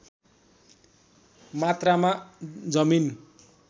मात्रामा जमिन